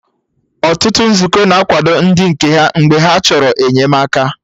Ọtụtụ Nzukọ na-akwado ndị nke ha mgbe ha chọrọ enyemaka